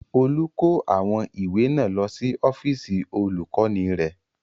Olú kó àwọn ìwé náà lọ sí ọ́fíísì Olùkọ́ní rẹ̀.